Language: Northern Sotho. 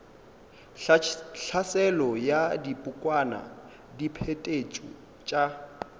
tlhaselo ya dibokwana diphetetšo tša